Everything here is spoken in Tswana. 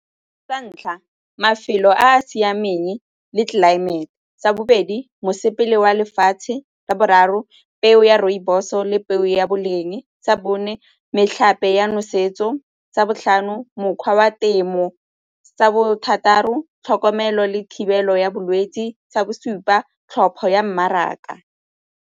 Sa ntlha, mafelo a a siameng le tlelaemete. Sa bobedi, mosepele wa lefatshe. Sa boraro, peo ya rooibos o le peo ya boleng. Sa bone, metlhape ya nosetso. Sa botlhano, mokgwa wa temo. Sa bothataro, tlhokomelo le thibelo ya bolwetse. Sa bosupa, tlhopho ya mmaraka.